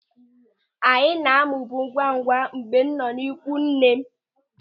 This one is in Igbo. Anyị na-amụbu ngwamngwam mgbe m nọ n'ikwu nne m.